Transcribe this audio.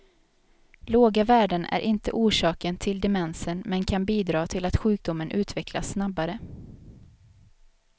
Låga värden är inte orsaken till demensen men kan bidra till att sjukdomen utvecklas snabbare.